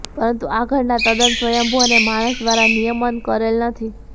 પરંતુ આ ઘટના તદ્દન સ્વયંભૂ અને માણસ દ્વારા નિયમન કરેલ નથી